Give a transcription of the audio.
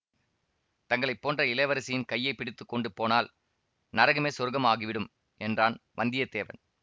தங்களைப்போன்ற இளவரசியின் கையை பிடித்து கொண்டு போனால் நரகமே சொர்கம் ஆகிவிடும் என்றான் வந்தியத்தேவன்